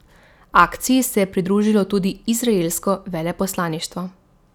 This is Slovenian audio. Akciji se je pridružilo tudi izraelsko veleposlaništvo.